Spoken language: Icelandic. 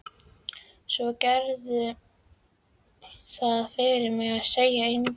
Svo gerðu það fyrir mig að segja engum.